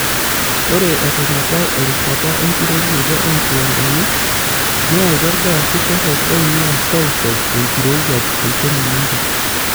Ore eton ebau erishata enkiterunoto oonkiwandani neyautua ilgaasi torok oingua seuseu enkirowuaj tolchoni lenkop.